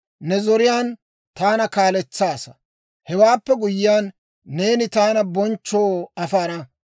Ne zoriyaan taana kaaletsaasa; hewaappe guyyiyaan neeni taana bonchchoo afana.